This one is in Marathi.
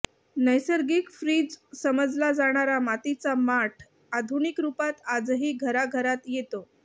नैसर्गिक फ्रीज समजला जाणारा मातीचा माठ आधुनिक रुपात आजही घराघरात येतो